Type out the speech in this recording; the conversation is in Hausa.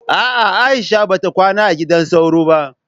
a'a Aisha bata kwana a gidan sauro ba